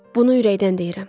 Bunu ürəkdən deyirəm.